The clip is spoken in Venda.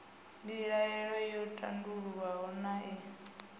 mbilaelo yo tandululwa naa ee